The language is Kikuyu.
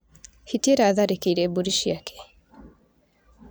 Hiti ĩratharĩkĩire mbũri ciake.